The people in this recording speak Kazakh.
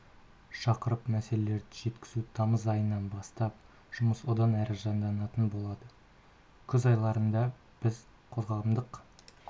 шақырып мәселелерді шешу тамыз айынан бастап жұмыс одан әрі жанданатын болады күз айларында біз қоғамдық